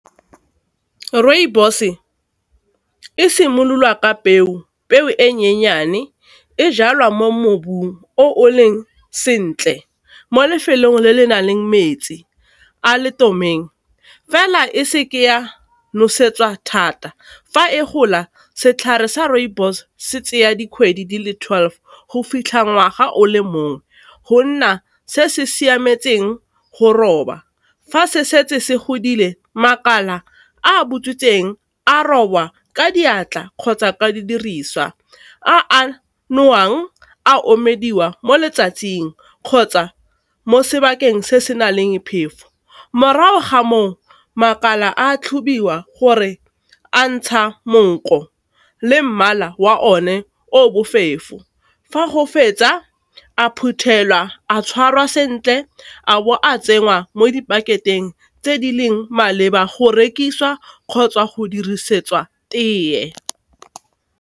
Rooibos e simolola ka peo, peo e nyenyane, e jalwa mo mobung o leng sentle mo lefelong le le nang le metsi a le , fela e seke ya nosetsa thata fa e gola. Setlhare sa rooibos se tseya dikgwedi dile twelve go fitlha ngwaga o le mongwe go nna se se siametseng go roba, fa se setse se godile makala a butswitseng a robwa ka diatla kgotsa ka didiriswa a nowang a omelediwa mo letsatsing kgotsa mo sebakeng se se na leng phefo, morago ga moo makala a tlhobiwa gore a ntsha monko le mmala wa o ne o bofefo, fa go fetsa a phuthelwa a tshwarwa sentle a bo a tsenngwa mo dipakeng tse di leng maleba go rekisiwa kgotsa go dirisetswa teye.